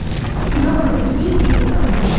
леха тебе пизда